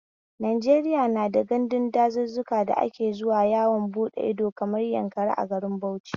Najeriya na da gandun dazuzzuka da ake zuwa yawon bude ido, kamar Yankari a garin Bauchio